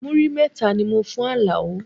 Múrí mẹ́ta ni mo fún Alao